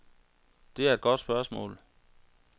Det er et godt spørgsmål.